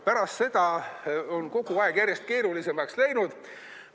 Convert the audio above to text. Pärast seda on kogu aeg järjest keerulisemaks läinud.